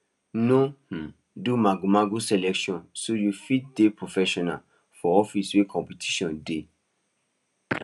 no um do magomago selection so u fit dey professional for office wey competition dey